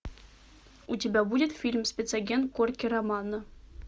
у тебя будет фильм спецагент корки романо